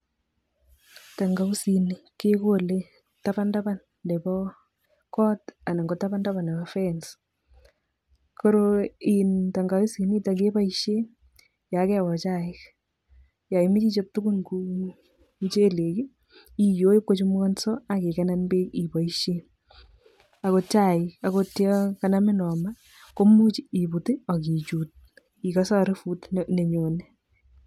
Tangawizini kekole taban taban nebo kot anan ko taban taban nebo fence koroi , tangawizinoto kepoishe yo keyoo chaik, yo imoche ichop tugun kou muchelek iyoi ipkochamukanso aki kikenen beek ipoishe akot chai akot yon kanamin homa komuch iput akichuut ikase arufut nenyone.